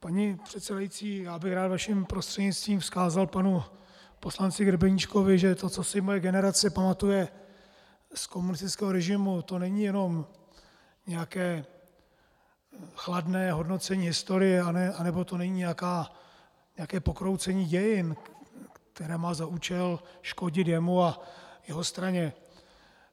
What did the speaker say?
Paní předsedající, já bych rád vaším prostřednictvím vzkázal panu poslanci Grebeníčkovi, že to, co si moje generace pamatuje z komunistického režimu, to není jenom nějaké chladné hodnocení historie, nebo to není nějaké pokroucení dějin, které má za účel škodit jemu a jeho straně.